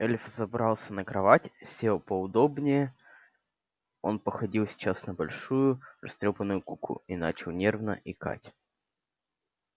эльф взобрался на кровать сел поудобнее он походил сейчас на большую растрёпанную куклу и начал нервно икать